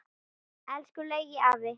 Elsku Laugi afi.